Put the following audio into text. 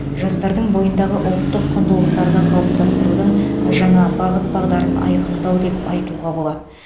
жастардың бойындағы ұлттық құндылықтарды қалыптастырудың жаңа бағыт бағдарын айқындау деп айтуға болады